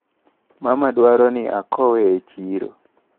Mama dwaro ni akowe e chiro.